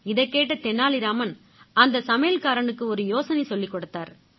இதைக் கேட்ட தெனாலி ராமன் அந்த சமையல்காரனுக்கு ஒரு யோசனை சொல்லிக் கொடுத்தாரு